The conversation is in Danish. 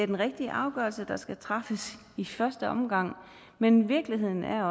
den rigtige afgørelse skal træffes i første omgang men virkeligheden er